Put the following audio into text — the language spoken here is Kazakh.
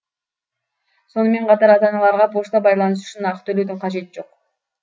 сонымен қатар ата аналарға пошта байланысы үшін ақы төлеудің қажеті жоқ